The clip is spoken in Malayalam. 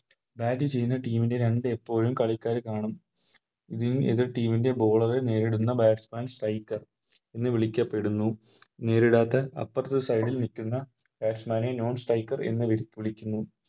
Bat ചെയ്യുന്ന Team ൻറെ രണ്ട് എപ്പോഴും കളിക്കാര് കാണും ഇതിൽ എതിർ Team ൻറെ Bowler നേരിടുന്ന Batsman striker എന്ന് വിളിക്കപ്പെടുന്നു നേരിടാത്ത അപ്പാർത്തേ Side ൽ നിൽക്കുന്ന Batsman നെ Non striker എന്ന് വിളിക്കുന്നു